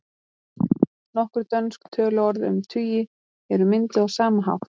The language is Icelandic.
Nokkur dönsk töluorð um tugi eru mynduð á sama hátt.